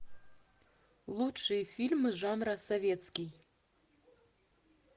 лучшие фильмы жанра советский